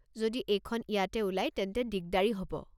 যদি এইখন ইয়াতে ওলায় তেন্তে দিগদাৰি হ'ব।